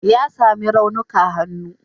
Ya sami raunuka hannu.